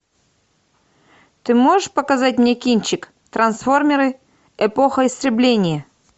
ты можешь показать мне кинчик трансформеры эпоха истребления